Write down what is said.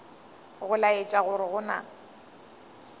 go laetša gore go na